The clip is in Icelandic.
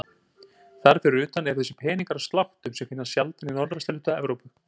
Þar fyrir utan eru þessir peningar af sláttum sem finnast sjaldan í norðvesturhluta Evrópu.